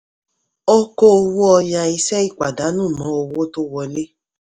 ó kó owó ọya iṣẹ́ ipàdánù mọ́ owó tó wọlé.